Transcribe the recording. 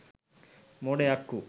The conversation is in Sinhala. මොඩ යක්කු.